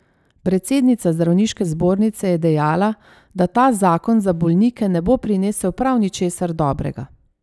Predsednica zdravniške zbornice je dejala, da ta zakon za bolnike ne bo prinesel prav ničesar dobrega.